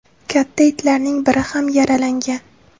Katta itlarning biri ham yaralangan.